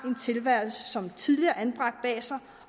tilværelse som tidligere anbragt bag sig